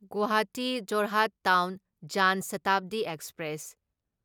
Guwahati Jorhat town Jan Shatabdi express